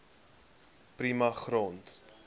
prima grond